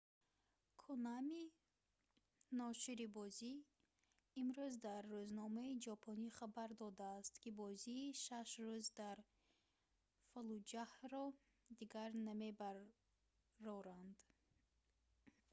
конами ношири бозӣ имрӯз дар рӯзномаи ҷопонӣ хабар додааст ки бозии шаш рӯз дар фаллуҷаҳро дигар намебароранд